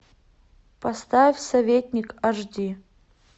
поставь советник аш ди